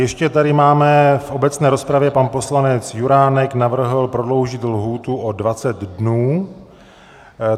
Ještě tady máme - v obecné rozpravě pan poslanec Juránek navrhl prodloužit lhůtu o 20 dnů.